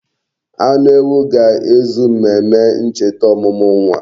Anu ewu ga-ezu mmemme ncheta omumu nwa.